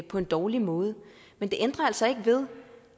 på en dårlig måde men det ændrer altså ikke ved